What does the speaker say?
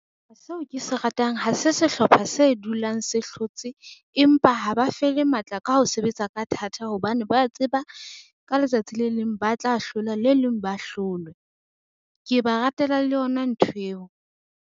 Seo ke se ratang ha se sehlopha se dulang se hlotse, empa ha ba fele matla ka ho sebetsa ka thata hobane ba tseba ka letsatsi le leng ba tla hlola, le leng ba hlolwe ke ba ratela le yona nthweo.